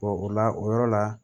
o la o yɔrɔ la